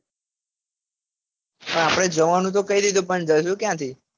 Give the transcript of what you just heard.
પણ આપડે જવાનું તો કઈ રીતે પણ જવાનું ક્યાંથી